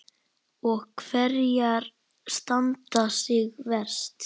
Og hverjar standa sig verst?